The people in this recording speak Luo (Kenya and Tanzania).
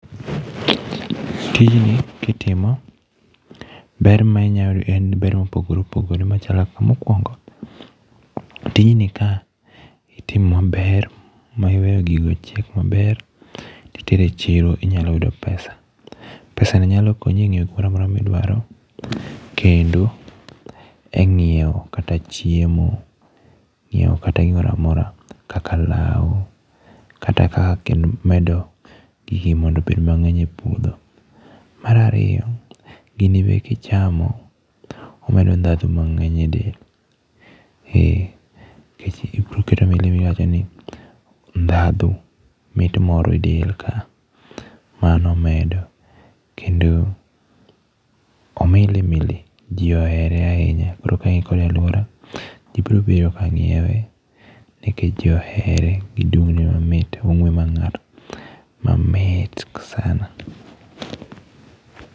Tijni kitimo, ber ma inyalo yudo en ber mopogore opogore machalo kaka mokuongo, tijni ka itimo maber ma iweyo gigo ochiek maber to itero echiro to inyalo yudo pesa, pesa no nyalo konyi enyiewo gimoro amora ma idwaro, kendo e ng'iewo kata chiemo to nyiewo kata gimoro amora kata kaka law kata inyalo medo go gini mondo obed mang'eny epuodho. Mar ariyo, gini be kichamo omedo ndhadhu mang'eny edel, eh obiro keto milimili moro edel , iwacho ni eh ,ndhadhu mit moro e del kae, mano omedo kendo omili mili ji ohere ahinya koro ka in kode e aluora, ji biro biro ma nyiewe, nikech ji ohere, gi dung' ne mamit. Ong'ue mar ng'ar, mamit sana.